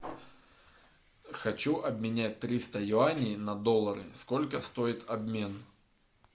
хочу обменять триста юаней на доллары сколько стоит обмен